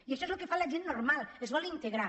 i ai·xò és el que fa la gent normal s’hi vol integrar